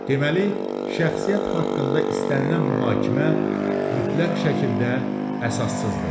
Deməli, şəxsiyyət haqqında istənilən mühakimə mütləq şəkildə əsassızdır.